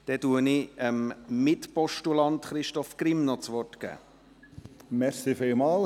Dann gebe ich dem Mitpostulanten Christoph Grimm noch das Wort.